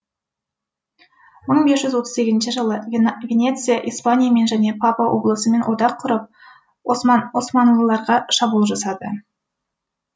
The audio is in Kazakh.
мың бес жүз отыз сегізінші жылы венеция испаниямен және папа облысымен одақ құрып османлыларға шабуыл жасады